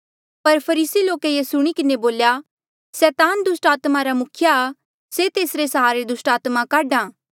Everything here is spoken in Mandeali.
पर फरीसी लोके ये सुणी किन्हें बोल्या सैतान दुस्टात्मा रा मुखिया आ से तेसरे सहारे दुस्टात्मा काढा आ